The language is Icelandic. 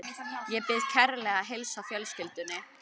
Ég bið kærlega að heilsa fjölskyldunni.